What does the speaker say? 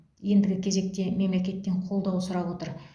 ендігі кезекте мемлекеттен қолдау сұрап отыр